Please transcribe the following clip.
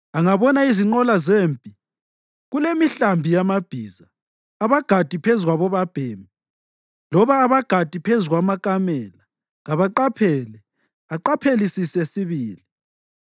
Angabona izinqola zempi, kulemihlambi yamabhiza, abagadi phezu kwabobabhemi loba abagadi phezu kwamakamela, kaqaphele; aqaphelisise sibili.”